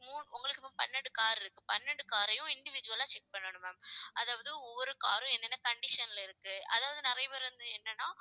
மு~ உங்களுக்கு இப்போ பன்னெண்டு car இருக்கு பன்னெண்டு car ஐயும் individual ஆ check பண்ணணும் ma'am அதாவது ஒவ்வொரு car உம் என்னென்ன condition ல இருக்கு அதாவது நிறைய பேர் வந்து என்னன்னா